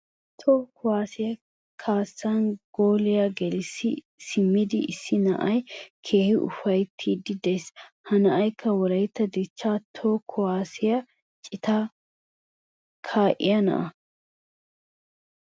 Tohuwa kuwaassiya kaassan gooliya gelissi simmidi issi na'ay keehi ufayttiiddi de'ees. Ha na'aykka wolaytta dichcha toho kuwaassiya citan kaa'iya na'a.